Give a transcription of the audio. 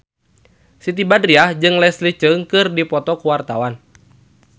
Siti Badriah jeung Leslie Cheung keur dipoto ku wartawan